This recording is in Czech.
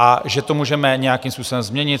A že to můžeme nějakým způsobem změnit?